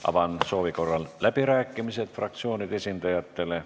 Avan soovi korral läbirääkimised fraktsioonide esindajatele.